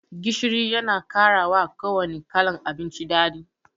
Gishiri Yana karawa kuwanne kalan abinci daɗi.